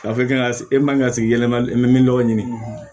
Ka fɔ k'i ka e man ka sigi yɛlɛma min n'o ɲini